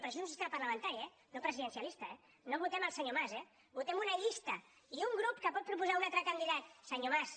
però això és un sistema parlamentari eh no presidencialista no votem el senyor mas votem una llista i un grup que pot proposar un altre candidat senyor mas